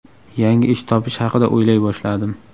Yangi ish topish haqida o‘ylay boshladim.